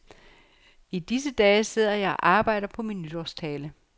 I disse dage sidder jeg og arbejder på min nytårstale.